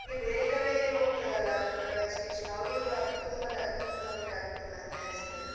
ಈ ಬೇರೆ ಕಡೆ ಹೋಗ್ತಾರಲ್ಲ education ಬಾ~ ಅವ್ರಿಗೆ ತುಂಬ ತೊಂದ್ರೆ ಆಗ್ಬಹುದಾ ಅಂತ ಎಣಿಸ್ತದೆ.